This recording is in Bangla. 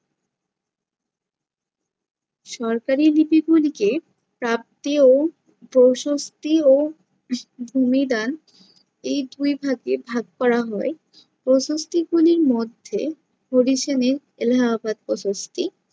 সরকারি লিপিগুলিকে প্রাপ্তি ও প্রশস্তি ও উহ ভূমিদান এই দুই ভাগে ভাগ করা হয়। প্রশস্তি গুলির মধ্যে position এ এলাহাবাদ প্রশস্তি।